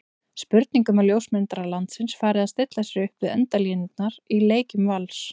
Spurning um að ljósmyndarar landsins fari að stilla sér upp við endalínurnar í leikjum Vals?